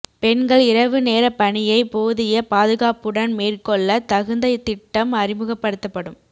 பெண்கள் இரவு நேர பணியை போதிய பாதுகாப்புடன் மேற்கொள்ள தகுந்த திட்டம் அறிமுகப்படுத்தப்படும்